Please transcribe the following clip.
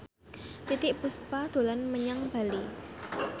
Titiek Puspa dolan menyang Bali